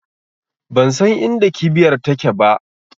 Bansan inda kibiyar take ba